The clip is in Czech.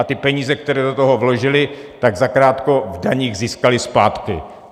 A ty peníze, které do toho vložili, tak zakrátko v daních získali zpátky.